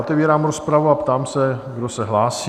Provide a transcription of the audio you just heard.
Otevírám rozpravu a ptám se, kdo se hlásí?